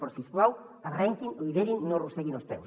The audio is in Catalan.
però si us plau arrenquin liderin i no arrosseguin els peus